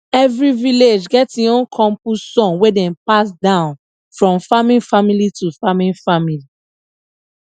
every village get im own compost song wey dem pass down from farming family to farming family